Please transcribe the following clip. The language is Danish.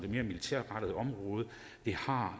mere militærrettede område har